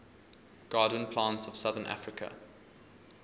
garden plants of southern africa